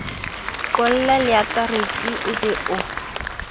qolla leakaretsi o be o